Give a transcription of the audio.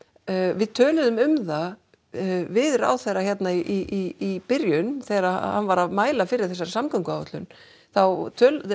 við töluðum um það við ráðherra hér í byrjun þegar hann var að mæla fyrir þessari samgönguáætlun þá